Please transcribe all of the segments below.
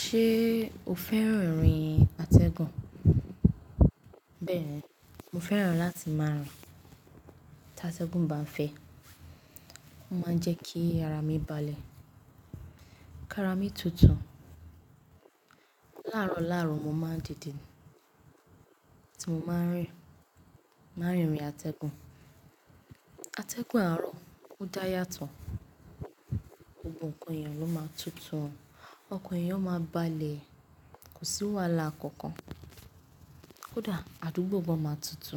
Ṣée o fẹ́ràn orin atẹgùn? Bẹ́ẹ̀ni, mo fẹ́ràn láti máa rìn. Tí atẹgùn bá ń fẹ́, ó máa ń jẹ́ kí ara mi balẹ̀, káara mi tutù. Láàrọ̀ láàrọ̀ mo máa ń dìde tí mo bá n rìn, má n rìn n nu atẹgùn. Atẹgùn àárọ̀ ó dáyà to, gbogbo ǹkan eeyàn ló máa tutù, ọkàn èèyàn máa balẹ̀, kò sí wàhálà kankan. Kódà àdúgbò gan máa tutù,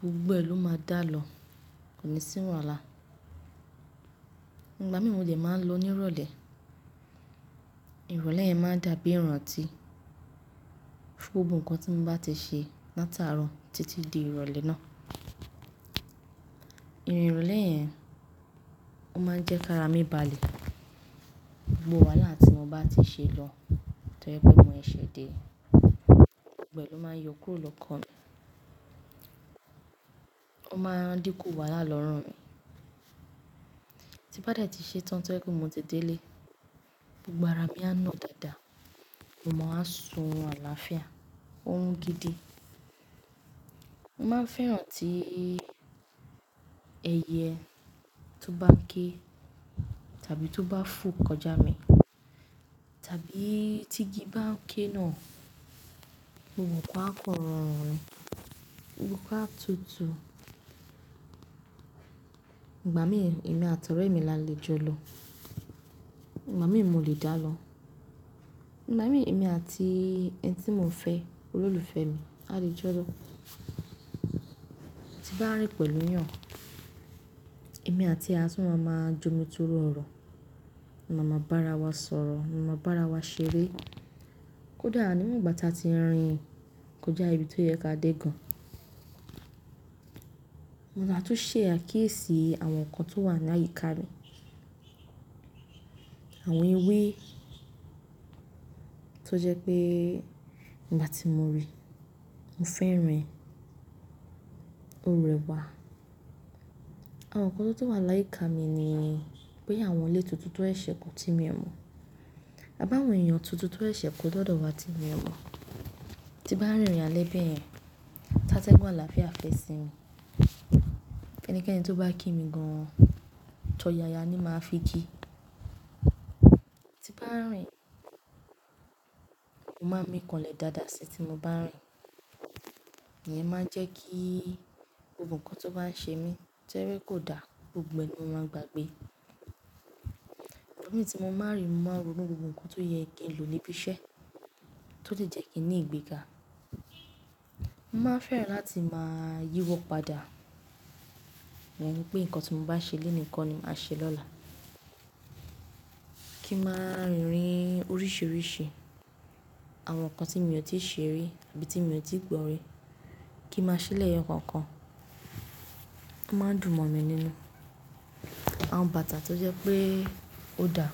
Gbogbo ẹ̀ ló máa dá lọ, kò ní sí wàhálà. Ìgbà mìí mo lè máa ń lo ní ìrọ̀lẹ́. Ìrọ̀lẹ́ yẹn máa ń dàbí ìranti gbogbo nǹkan tí mo bá ti ṣe látàárọ̀ títí di ìrọ̀lẹ́ náà. Irin ìrọ̀lẹ́ yẹn, ó máa ń jẹ́ káara mi balẹ̀. Gbogbo wàhálà tí mo bá ti ṣe lọ tọrípé mo ṣẹ́se dé, gbogbo ẹ̀ ló máa yọ kúrò lọ́kàn mi. Ó máa dínkù wàhálà lọ́rùn mi. Tí n bá dẹ̀ ti ṣe tán to je pé mo ti délé, gbogbo ara mi á nà dáadáa, mo má wa sùn orun álàafíà, órun gidi. Mo máa ń fẹ́ràn tí ẹyẹ tó bá ń ké tàbí tó bá fò kọjá mi, tàbí tigi bá ń ké náà, gbogbo nǹkan á kan rọrun ni, gbogbo nǹkan á tutù. Ìgbà mìí èmi àtọ̀rẹ́ mi la le jọ lọ. Ìgbà mìí mo lè dá lọ. Ìgbà mìí èmi àti ẹni tí mo n fẹ́, olólùfẹ́ mi a lè jọ lọ. Tí n bá rìn pẹ̀lú eeyàn, èmi àti e a tun máa ma ń jomi tórọ̀ ọ̀rọ̀. A máa ma bára wa sọ̀rọ̀, a máa ma bára wa ṣeré. Kódà nígbà tí a ti rìn kọjá ibi tó yẹ kí a dé gan, Mo máa tún ṣẹ̀ àkiyesií àwọn nǹkan tó wà láyìíká mi. Àwọn ewé tó jẹ́ pé ìgbà tí mo rí, mo fẹ́ rìn, ó rẹwà. Àwọn nǹkan tó tun wà láyìíká mi ni pé àwọn ilé tuntun tan seṣẹ́ kò ti mí o mo. A bá àwọn èèyàn tuntun tó seṣẹ́ kò dọ́dọ̀ wá ti mí o mo. Tí n bá rinrìn ale bẹ̀yẹn, ta tẹgùn àlàáfíà fẹ́ sinmi, ẹnikẹ́ni tó bá kí mi gan -an, tọ̀yàyà ni máa fi ki. Tí n bá rìn, mo má n mì kànlẹ̀ dáadáa sí tí mo bá n rìn. Ìyẹn máa ń jẹ́ kí gbogbo nǹkan tó bá ń ṣe mí tẹ́lẹ̀ kò dá, gbogbo ẹ̀ ló máa gbàgbé. Ìgbà mìí tí mo bá rìn, mo máa ronú gbogbo nǹkan tó yẹ kí n lò níbi iṣẹ́, tó le jẹ́ kín ni ìgbéga. Mo máa fẹ́ràn láti máa yíwọ́ padà. Mo mọ̀ pé nǹkan tí mo bá ṣe lónìí kọ́ ni màá ṣe lọ́la. Kí n màá rinrìn oríṣiiríṣi, àwọn nǹkan tí mi o ti ṣe rí tàbí tí mo ti gbọ́ rí, kí n màá ṣè leyo kookan. O máa n dùn mọ̀ mí nínú. Àwọn bàtà tó jẹ́ pé ó dá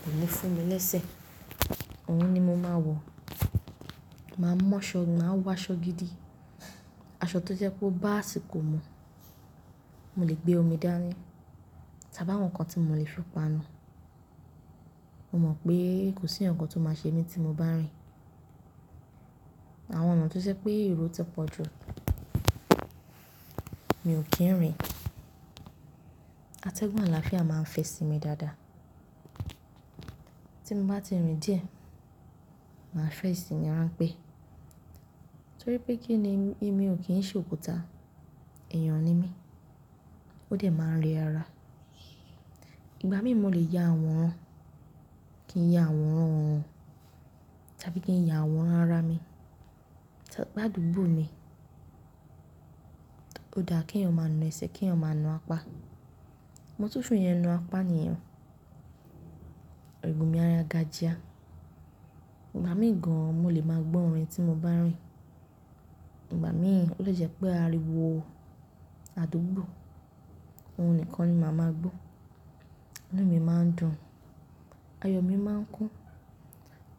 kò lè fún mi lẹ́sẹ̀, òun ni mo máa wọ̀. Màá mu aṣọ, màá wọ aṣọ gidi, aṣọ tó jẹ́ po bá asikò mú, mo lè gbé omi dání tàbí àwọn nǹkan tí mo lè fi panu. Mo mọ̀ pé kò sí ǹkan tó máa ṣe mí tí mo bá rìn. Àwọn ọ̀nà tó jẹ́ pé ero ti pọ̀ jù, mi ò kí ń rìn. Atẹgùn àlàáfíà máa ń fẹ sí mi dáadáa. Tí mo bá ti rìn díẹ̀, màá fẹ́ simì ránpé torípé kíni èmi ò kí ń ṣe òkúta, èèyàn ni mí, ó dẹ̀ máa ń rẹ ara. Ìgbà mìí mo lè ya àworan, kí ń ya àworan won tàbí kí ń ya àworan ara mi. Tí bá dùbù mi, ó dáa keẹ̀yàn máa na ẹsẹ̀, keẹ̀yàn máa na apá. Mo tún fẹ́ naa apá niyen oh. Eru mi á ya ga jia. Ìgbà mìí gan mo lè máa gbọ́ orin tí mo bá ń rìn. Ìgbà mìi, ó lè jẹ́ pé ariwo àdúgbò, òun nìkan ni màá máa gbọ́. Inú mi máa ń dùn, ayọ̀ mi máa ń kún.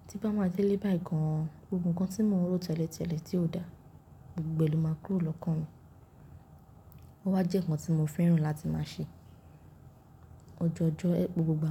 Tí n bá ma délé báyìí gan, gbogbo nǹkan tí mo n rò tẹ́lẹ̀tẹ́lẹ̀ tí ò dá, gbogbo ẹ̀ ló máa kúrò lọ́kàn mi. Ó wá jẹ́ nǹkan tí mo fẹ́ràn láti máa ṣe ọjọọjọ́ gbogbo gbà.